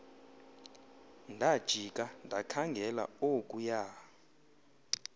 ndajika ndakhangela okuya